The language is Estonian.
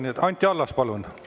Nii et Anti Allas, palun!